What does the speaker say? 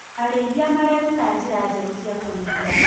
Arĩithia mareruta njĩra njerũ cia kũrĩithia.